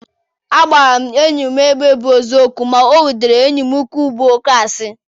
Agbara m enyi egbe bụ eziokwu ma enwudere m enyi n m'ukwu bụ okwuasi